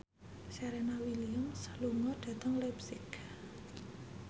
Serena Williams lunga dhateng leipzig